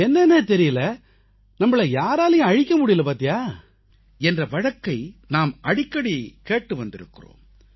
என்னவோ தெரியலை நம்மை யாராலும் அழிக்க முடியலை என்ற வழக்கை நாம் அடிக்கடி கேட்டு வந்திருக்கிறோம்